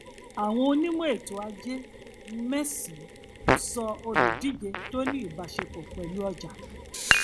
àwọn onímọ ètò ajé um mẹsànán um sọ olùdíje tó ní ìbáṣepọ pẹlú ọjà